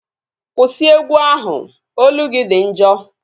Kwụsị egwu ahụ! Olu gị dị njọ